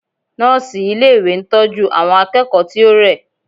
Nọ́ọ̀sì ilé ìwé ń tọ́jú àwọn akẹ́kọ̀ọ́ tí ó rẹ̀.